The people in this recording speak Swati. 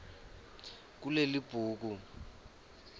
kulelibhuku